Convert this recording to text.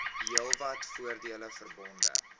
heelwat voordele verbonde